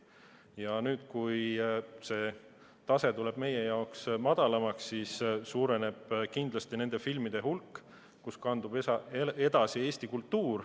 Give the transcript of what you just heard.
Ja nüüd, kui see tase muutub meie jaoks madalamaks, suureneb kindlasti nende filmide hulk, millega kandub edasi Eesti kultuuri.